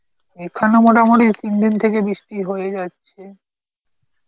এখানে মোটামুটি তিন দিন থেকে বৃষ্টি হয়েই যাচ্ছে